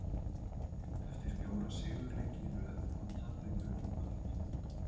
Eftir fjóra sigurleiki í röð kom tapleikurinn í kvöld.